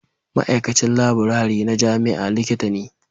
Ma'aikacin laburare na jami'a Likita ne